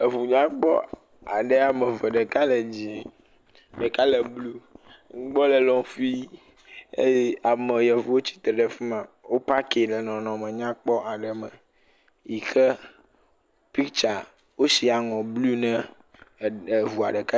eʋu nyakpɔ ameve ɖeka le dzĩe ɖeka le blu ŋugbɔ le lɔ̃ƒui eye ame yevuwo tsitre ɖe fima wo pak ɖe nɔnɔme nyakpɔ ɖe me yike piktsa wó siaŋɔ blu na ɖeka